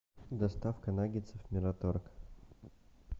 доставка наггетсов мираторг